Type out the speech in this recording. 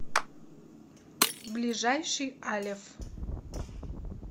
ближайший алеф